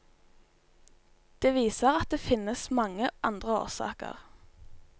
Det viser at det finnes mange andre årsaker.